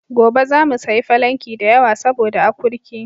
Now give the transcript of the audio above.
Gobe zamu sayi falanki da yawa saboda akurki.